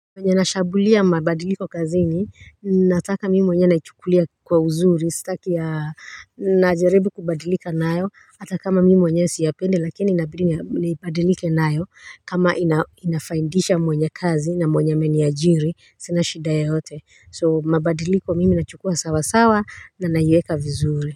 Vyenye nashambulia mabadiliko kazini nataka mimi mwenyewe naichukulia kwa uzuri sitaki ya najaribu kubadilika nayo hata kama mimi mwenyewe siyapendi lakini inabidi nibadilike nayo kama inafaidisha mwenye kazi na mwenye ameniajiri sina shida yoyote so mabadiliko mimi nachukua sawasawa na naiweka vizuri.